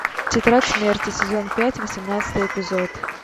тетрадь смерти сезон пять восемнадцатый эпизод